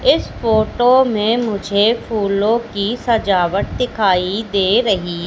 इस फोटो में मुझे फूलों की सजावट दिखाई दे रही--